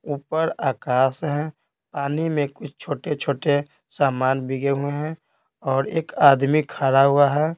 ऊपर आकाश है पानी में कुछ छोटे-छोटे सामान भीगे हुए हैं और एक आदमी खड़ा हुआ है।